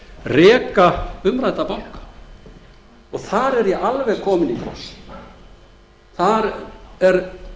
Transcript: reka umrædda banka þar er ég alveg kominn í kross þar er